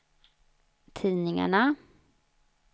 tidningarna